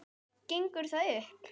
Gengur það upp?